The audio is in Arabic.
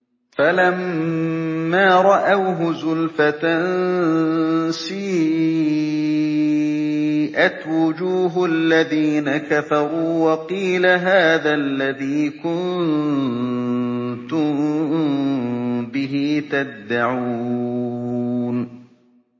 فَلَمَّا رَأَوْهُ زُلْفَةً سِيئَتْ وُجُوهُ الَّذِينَ كَفَرُوا وَقِيلَ هَٰذَا الَّذِي كُنتُم بِهِ تَدَّعُونَ